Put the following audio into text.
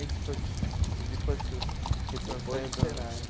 Esse foi depois. Depois do Senai.